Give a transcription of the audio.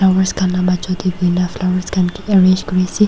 flowers khan majo tae buina flowers kae arrange kuriase.